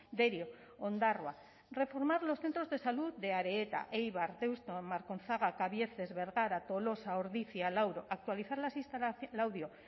derio ondarroa reformar los centros de salud de areta eibar deusto markonzaga kabiezes bergara tolosa ordizia laudio